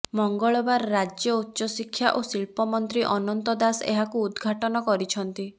ମଙ୍ଗଳବାର ରାଜ୍ୟ ଉଚ୍ଚ ଶିକ୍ଷା ଓ ଶିଳ୍ପ ମନ୍ତ୍ରୀ ଅନନ୍ତ ଦାସ ଏହାକୁ ଉଦଘାଟନ କରିଛନ୍ତି